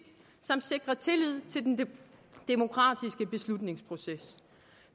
samt sikre tillid til den demokratiske beslutningsproces